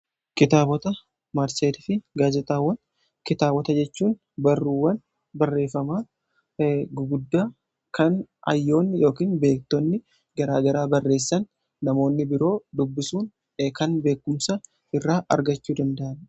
Kitaabota maatseetii fi gaazexaawwan: kitaabota jechuun barruuwwan barreeffamaa guguddaa kan hayyoonni yookiin beektonni gara garaa barreessan namoonni biroo dubbisuun kan beekumsa irraa argachuu danda'an.